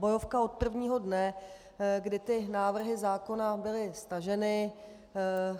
Bojovka od prvního dne, kdy ty návrhy zákona byly staženy.